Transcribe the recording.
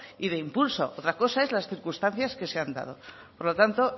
y de impulso otra cosa es las circunstancias que se has dado por lo tanto